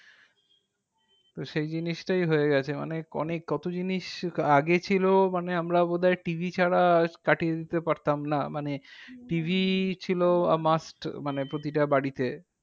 তো সেই জিনিসটাই হয়েগেছে। মানে অনেক কত জিনিস আগে ছিল মানে আমরা বোধহয় TV ছাড়া করিয়ে দিতে পারতাম না। মানে TV ছিল must মানে প্রতিটা বাড়িতে।